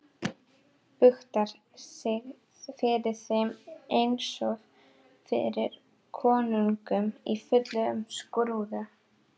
Buktar sig fyrir þeim einsog fyrir konungum í fullum skrúða.